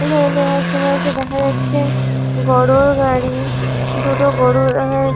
দেখা যাচ্ছে গরুর গাড়ি দুটো গরু দেখা যা--